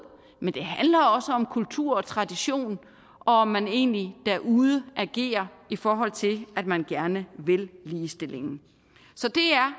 men det handler også om kultur og tradition og om man egentlig derude agerer i forhold til at man gerne vil ligestillingen så det er